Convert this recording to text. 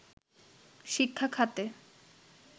শিক্ষাখাতে